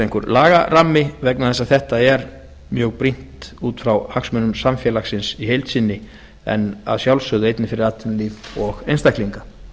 einhver lagarammi vegna þess að þetta er mjög brýnt út frá hagsmunum samfélagsins í heild sinni en að sjálfsgöðu einnig fyrir atvinnulíf og einstaklinga